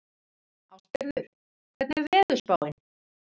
Ástgerður, hvernig er veðurspáin?